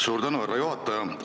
Suur tänu, härra juhataja!